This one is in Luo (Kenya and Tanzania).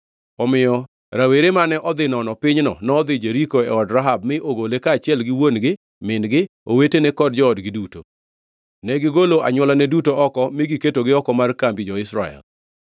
Omiyo rawere mane odhi nono pinyno nodhi Jeriko e od Rahab mi ogole kaachiel gi wuon-gi, min-gi, owetene kod joodgi duto. Negigolo anywolane duto oko mi giketogi oko mar kambi jo-Israel.